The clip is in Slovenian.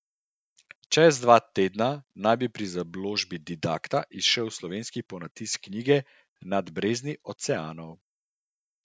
Čez dva tedna naj bi pri založbi Didakta izšel slovenski ponatis knjige Nad brezni oceanov.